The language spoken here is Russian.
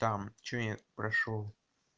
там что я прошёл